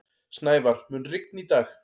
Snævar, mun rigna í dag?